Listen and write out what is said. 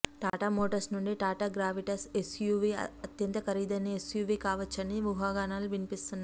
Tata Motors నుండి Tata Gravitas SUV అత్యంత ఖరీదైన ఎస్యూవీ కావచ్చునని ఊహాగానాలు వినిపిస్తున్నాయి